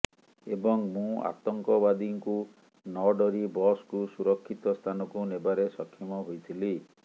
ଏବଂ ମୁଁ ଆତଙ୍କବାଦୀଙ୍କୁ ନଡରି ବସକୁ ସୁରକ୍ଷିତ ସ୍ଥାନକୁ ନେବାରେ ସକ୍ଷମ ହୋଇଥିଲି